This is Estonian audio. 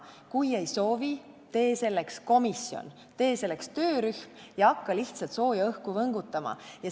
Kui ei soovi, tee selleks komisjon, tee selleks töörühm ja hakka lihtsalt sooja õhku võngutama.